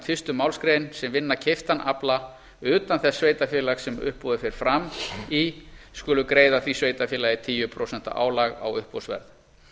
fyrstu málsgrein sem vinna keyptan afla utan þess sveitarfélags sem uppboðið fer fram í skulu greiða því sveitarfélagi tíu prósent álag á uppboðsverð